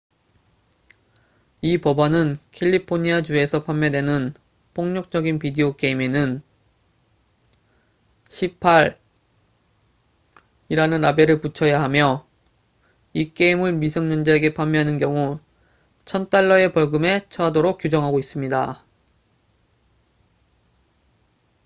"이 법안은 캘리포니아 주에서 판매되는 폭력적인 비디오 게임에는 "18""이라는 라벨을 붙여야 하며 이 게임을 미성년자에게 판매하는 경우 1000달러의 벌금에 처하도록 규정하고 있습니다.